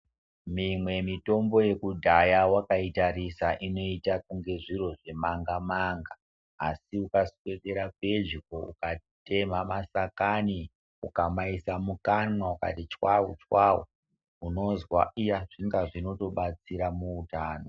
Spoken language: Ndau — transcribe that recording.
Mimwe mitombo yekudhaya wakaitarisa inoita kunga zviro zvemanga manga asi ukaswedera pedyo ukatemha mashakani ukamaisa mukanwa ukati chwawu chwawu unonzwa kuti iya zvinhu zvinotobatsira muutano.